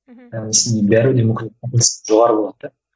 мхм яғни сізде бәрібір де жоғары болады да